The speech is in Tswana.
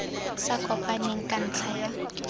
sa kopaneng ka ntlha ya